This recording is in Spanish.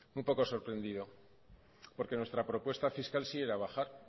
un poco sorprendido porque nuestra propuesta fiscal sí era bajar